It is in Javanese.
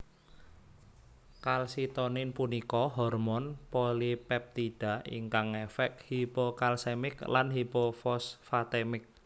Kalsitonin punika hormon polipeptida ingkang ngefek hipokalsemik lan hipofosfatemik